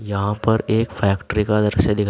यहां पर एक फैक्ट्री का दृश्य दिख--